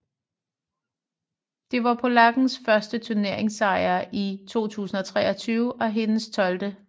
Det var polakkens første turneringssejr i 2023 og hendes 12